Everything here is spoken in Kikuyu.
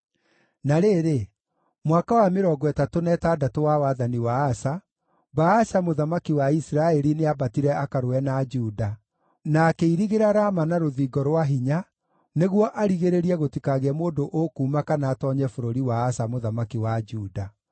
Na rĩrĩ, mwaka wa mĩrongo ĩtatũ na ĩtandatũ wa wathani wa Asa, Baasha mũthamaki wa Isiraeli nĩambatire akarũe na Juda, na akĩirigĩra Rama na rũthingo rwa hinya nĩguo arigĩrĩrie gũtikagĩe mũndũ ũkuuma kana atoonye bũrũri wa Asa mũthamaki wa Juda.